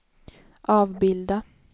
avbilda